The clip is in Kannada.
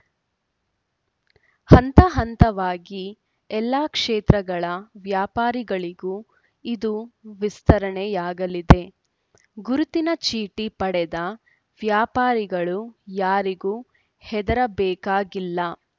ಹಂತ ಹಂತವಾಗಿ ಎಲ್ಲ ಕ್ಷೇತ್ರಗಳ ವ್ಯಾಪಾರಿಗಳಿಗೂ ಇದು ವಿಸ್ತರಣೆಯಾಗಲಿದೆ ಗುರುತಿನ ಚೀಟಿ ಪಡೆದ ವ್ಯಾಪಾರಿಗಳು ಯಾರಿಗೂ ಹೆದರಬೇಕಾಗಿಲ್ಲ